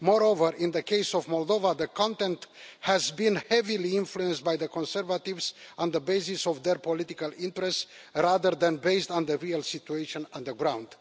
Moreover, in the case of Moldova, the content has been heavily influenced by the Conservatives on the basis of their political interests rather than based on the real situation on the ground.